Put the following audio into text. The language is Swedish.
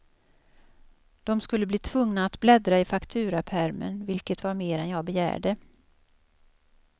Dom skulle bli tvungna att bläddra i fakturapärmen, vilket var mer än jag begärde.